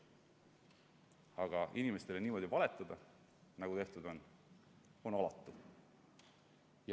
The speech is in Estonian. Aga inimestele niimoodi valetada, nagu seda on tehtud, on alatu.